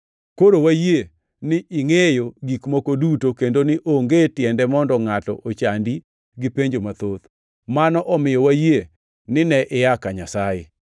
Koro wayie ni ingʼeyo gik moko duto kendo ni onge tiende mondo ngʼato ochandi gi penjo mathoth. Mano omiyo wayie ni ne ia ka Nyasaye.”